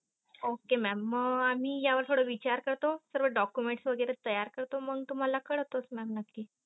okay mam म आम्ही या वर विचार करतो सर्व document वगैरे तयार करतो मग तुम्हाला कळवतोच mam नक्की.